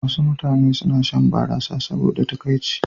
Wasu mutane suna shan barasa saboda takaici.